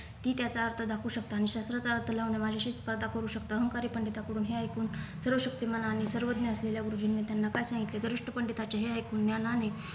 ती त्याचा अर्थ दाखवू शकता आणि शास्त्राचा अर्थ लावणे माझ्याशी स्पर्धा करू शकता अहंकारी पंडितांकडून हे ऐकून सर्वशक्तिमान आणि सर्वज्ञ असलेल्या गुरुजींनी त्यांना काय सांगितले गर्विष्ठ पंडितांचे हे ऐकून ज्ञानाने